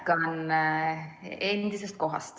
Jätkan endisest kohast.